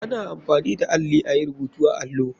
Ana amfani da alli ayi rubutu a allo.